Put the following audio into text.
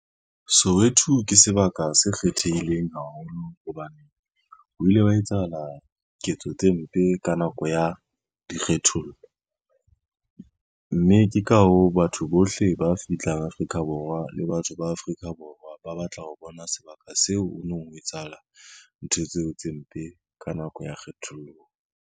Soweto ke sebaka se kgethehileng haholo hobane, ho ile wa etsahala ketso tse mpe ka nako ya dikgethollo mme ne ke ka hoo, batho bohle ba fihlang Afrika Borwa le batho ba Afrika Borwa ba batla ho bona sebaka seo ho nong ho etsahala ntho tseo tse mpe ka nako ya kgethollo.